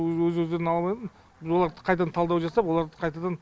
өз өздерін ала алмайды біз оларды қайтадан талдау жасап оларды қайтадан